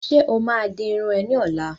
Ṣe o ma di irun é ni ọ̀la?